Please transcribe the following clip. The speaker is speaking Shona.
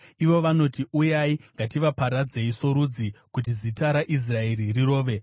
Ivo vanoti, “Uyai, ngativaparadzei sorudzi, kuti zita raIsraeri rirove.”